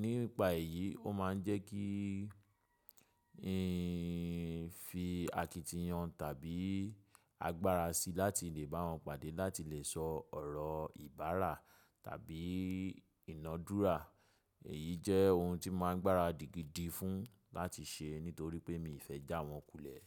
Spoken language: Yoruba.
nípa èyí, ó máa ń jẹ́ kí n fi àkítì yan tàbí agbára sí láti lè bá wọ́n pàdé láti lè sọ ọ̀rọ̀ ìbárà tàbí ìnádúrà. Èyí jẹ́ ohun tí máa ń gbára dígidí fún láti ṣe nítorí pé miiì fẹ́ jà wọ́n kùlẹ̀.